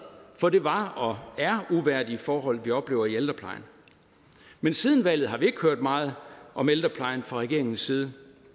for det var og er uværdige forhold vi oplever i ældreplejen men siden valget har vi ikke hørt meget om ældreplejen fra regeringens side